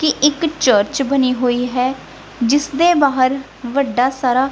ਤੇ ਇੱਕ ਚਰਚ ਬਣੀ ਹੋਈ ਹੈ ਜਿਸ ਦੇ ਬਾਹਰ ਵੱਡਾ ਸਾਰਾ--